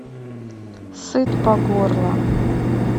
сыт по горло